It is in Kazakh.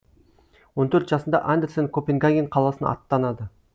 он төрт жасында андерсен копенгаген қаласына аттанады